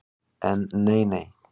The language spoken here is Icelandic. En nei, nei.